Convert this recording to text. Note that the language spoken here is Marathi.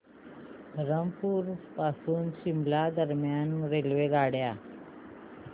धरमपुर पासून शिमला दरम्यान रेल्वेगाड्या